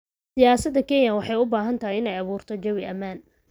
Siyaasadda Kenya waxay u baahan tahay inay abuurto jawi ammaan.